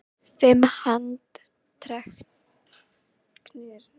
Fimm handteknir í Ósló